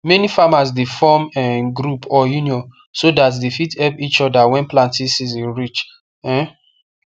many farmers dey form um group or union so that they fit help each other when planting season reach um